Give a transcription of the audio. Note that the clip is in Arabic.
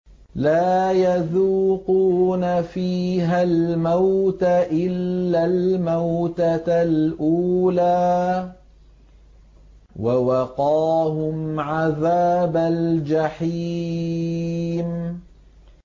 لَا يَذُوقُونَ فِيهَا الْمَوْتَ إِلَّا الْمَوْتَةَ الْأُولَىٰ ۖ وَوَقَاهُمْ عَذَابَ الْجَحِيمِ